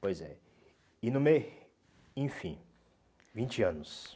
Pois é. E no meio, enfim, vinte anos.